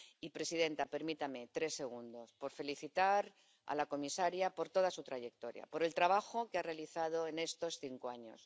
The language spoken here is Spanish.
Y, presidenta, permítame tres segundos para felicitar a la comisaria por toda su trayectoria, por el trabajo que ha realizado en estos cinco años.